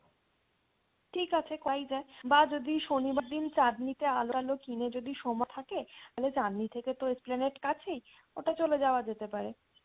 ঠিক আছে করাই যায় বাঁ যদি শনিবার দিন চাঁদনী তে আলো টালো কিনে যদি সময় থাকে তাহলে চাঁদনী থেকে তো Esplanade কাছেই ওটা চলে যাওয়া যেতে পারে।